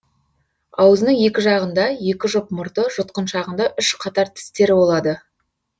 аузының екі жағында екі жұп мұрты жұтқыншағында үш қатар тістері болады